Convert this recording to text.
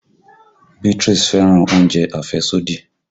Beatrice fẹ́ràn oúnjẹ àfẹ́sódì